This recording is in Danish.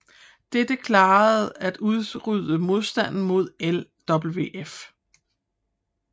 Dette klarede at udrydde modstanden mod LWF